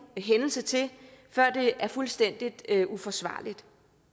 hændelse til før det er fuldstændig uforsvarligt